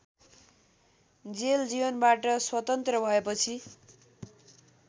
jail जीवनबाट स्वतन्त्र भएपछि